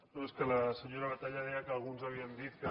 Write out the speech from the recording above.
no és que la senyora batalla deia que alguns havíem dit que